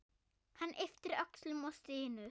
Hann ypptir öxlum og stynur.